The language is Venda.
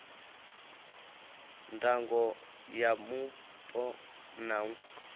ndango ya mupo na u